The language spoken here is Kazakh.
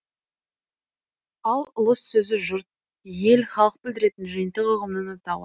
ал ұлыс сөзі жұрт ел халық білдіретін жиынтық ұғымның атауы